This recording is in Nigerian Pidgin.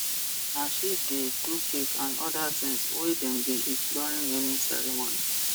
na she de do cake an other things we dem de eat during naming ceremony